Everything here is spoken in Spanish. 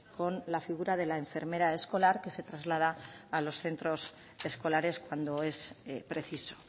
con la figura de la enfermera escolar que se traslada a los centros escolares cuando es preciso